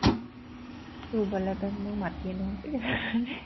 ৰোৱলে এতে মোৰ মাটিয়ে নহয়চে